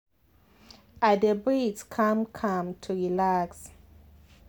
i dey breathe calm calm to relax.